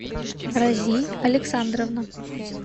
рази александровна